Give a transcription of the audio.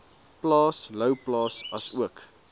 plaas louwplaas asook